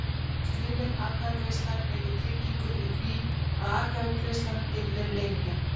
Skrifleg atkvæðagreiðsla veitir tryggingu fyrir því að atkvæðagreiðslan geti verið leynileg.